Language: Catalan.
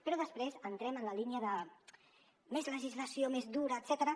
però després entrem en la línia de més legislació més dura etcètera